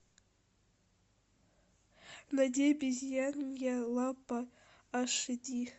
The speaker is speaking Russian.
найди обезьянья лапа аш ди